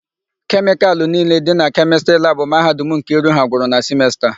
Kemịkalụ niile dị na Kemịstrị labụ Mahadum Nkiru ha gwụrụ na simesta a.